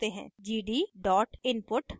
gd input